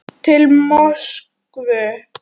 Til Moskvu